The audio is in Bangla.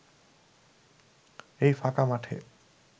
এই ফাঁকা মাঠে